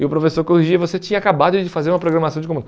E o professor corrigia e você tinha acabado de fazer uma programação de